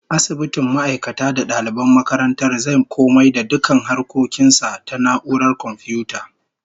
Asibitin ma'aikata da daliban makarantar zai komai da dukkan harkokin sa ta na'urar komfiyuta